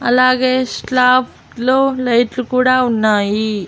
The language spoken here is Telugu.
అలాగే శ్లాప్ట్లో లైట్లు కూడా ఉన్నాయి.